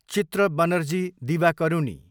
चित्र बनर्जी दिवाकरुनी